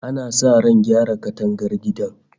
Ana sa ran gyara katangar gidan